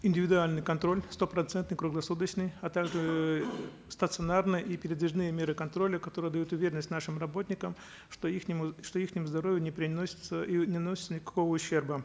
индивидуальный контроль стопроцентный круглосуточный а также эээ стационарные и передвижные меры контроля которые дают уверенность нашим работникам что что здоровью не приносится и не наносится никакого ущерба